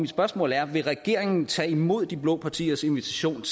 spørgsmål er vil regeringen tage imod de blå partiers invitation